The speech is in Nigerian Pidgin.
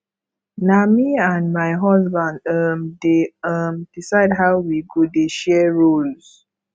na me and my husband um dey um decide how we go dey share roles